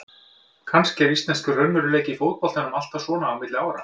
Kannski er íslenskur raunveruleiki í fótboltanum alltaf svona á milli ára.